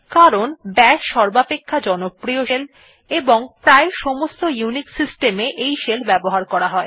কারণ বাশ সর্বাপেক্ষা জনপ্রিয় শেল এবং প্রায় সমস্ত ইউনিক্স সিস্টেম এ ব্যবহার করা যায়